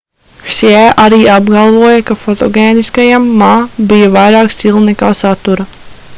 hsjē arī apgalvoja ka fotogēniskajam ma bija vairāk stila nekā satura